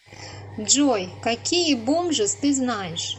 джой какие бомжиз ты знаешь